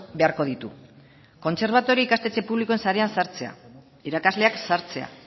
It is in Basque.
beharko ditu kontserbatorio ikastetxe publiko sarean sartzea irakasleak sartzea